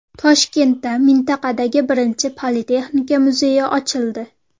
Toshkentda mintaqadagi birinchi Politexnika muzeyi ochildi.